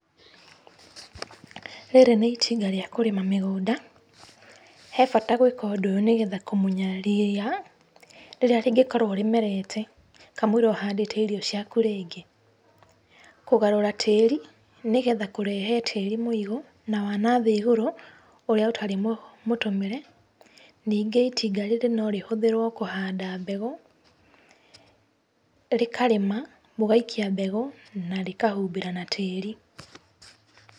Rĩrĩ ni itinga rĩa kũrima mĩgũnda, he bata gwĩka ũndũ ũyũ nĩgetha kũmunya ria rĩrĩa rĩngĩkorũo rĩmerete kamoira ũhandĩte irio cia kũrĩa rĩngĩ. Kũgarũra tĩĩri, nĩgetha kũrehe tĩĩri mũigũ na wanathĩ igũrũ ũrĩa ũtarĩ mũtũmĩre. Nĩngĩ ĩitinga rĩrĩ no rĩhũthĩrũo kũhanda mbegũ, rĩkarĩma, mũgaikia mbegũ, na rĩkahumbĩra na tĩĩri.